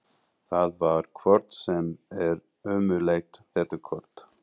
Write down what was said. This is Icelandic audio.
Það var hvort sem er ómögulegt þetta kort.